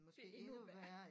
Det er endnu værre